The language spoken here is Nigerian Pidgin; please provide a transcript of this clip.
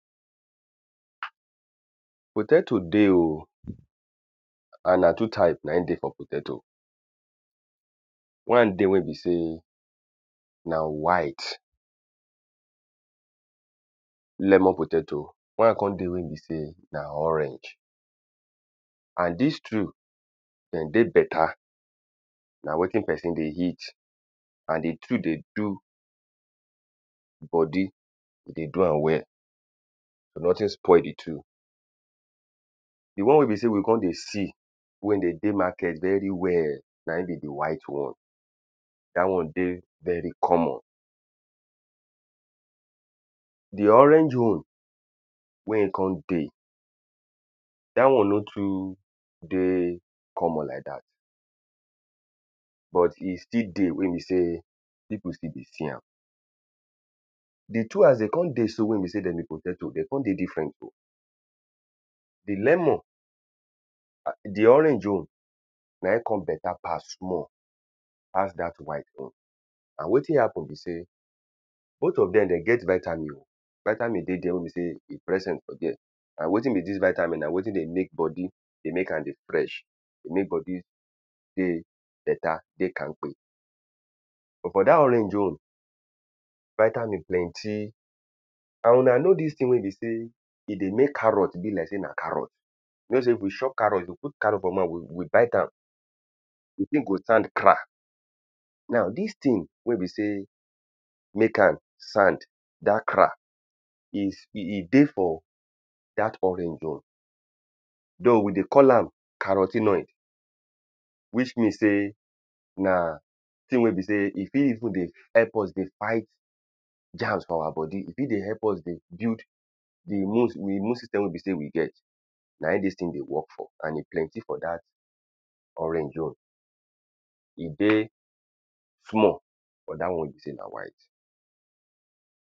Potato dey o and na two type na im dey for potato. One dey wey be sey na white lemon potato. One con dey wey be sey na orange. And dis two dem dey better. Na wetin person dey eat. And the two dey do body e dey do am well.nothing spoil the two The one wey be sey we con dey see. wey dey dey market very well na im be the white one. Dat one dey very common. The orange one wey e con dey dat one no too dey common like dat. but e still dey wey be sey people still dey see am. The two as de con dey so. Wey be sey de be potatoe, de con dey different. The lomon ah the orange own na im con better pass small pass dat white own. Na wetin happen be sey both of dem de get vitamin. Vitamin dey dere wey be sey e present for dere. And wetin be dis vitamin na wetin dey make body dey make am dey fresh. Dey make body dey better dey kamkpe. But for dat orange own vitamin plenty and huna know dis thing wey be sey e dey make carrot be like carrot. Wey be sey if we chop carrot. If we put carrot for mouth we we bite am the thing go sound cra Now dis thing wey be sey make am sound dat cra is e e dey for dat orange own. Though we dey call am carro ten oid. Which mean sey na thing wey be sey e fit even dey help us dey fight germs for our body. E fit dey help us dey build the immune the immune system wey be sey we get. Na im dis thing dey work for. And e plenty for dat orange own. E dey small for dat one wey ne sey na white.